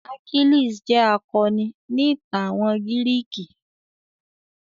Achilles jẹ́ akọni ni ìtàn àwọn gírìkì.